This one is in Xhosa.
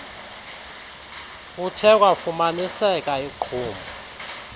kuthe kwafumaniseka iqhuma